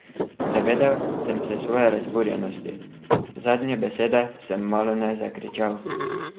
Zavedel sem se svoje razburjenosti, zadnje besede sem malone zakričal.